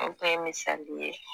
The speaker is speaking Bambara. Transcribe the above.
o bɛɛ ye misali ye